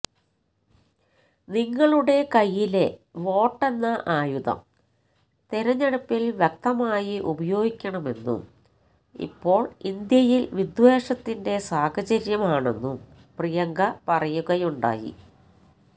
നിങ്ങളുടെ കൈയ്യിലെ വോട്ടെന്ന ആയുധം തിരഞ്ഞെടുപ്പില് വ്യക്തമായി ഉപയോഗിക്കണമെന്നും ഇപ്പോള് ഇന്ത്യയില് വിദ്വേഷത്തിന്റെ സാഹചര്യമാണെന്നും പ്രിയങ്ക പറയുകയുണ്ടായി